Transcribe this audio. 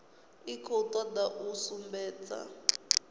i khou toda u sumbedza